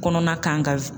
Kɔnɔna kan ka